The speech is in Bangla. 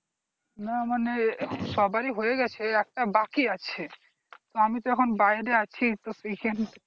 না মানে সবারির হয়ে গেছে একটা বাকি আছে আমি তো এখন বাইরে আছি তো সেই জন্য